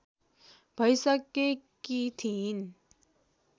भैसकेकी थिइन्